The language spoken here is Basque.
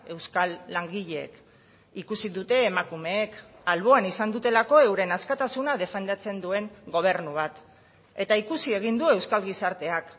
euskal langileek ikusi dute emakumeek alboan izan dutelako euren askatasuna defendatzen duen gobernu bat eta ikusi egin du euskal gizarteak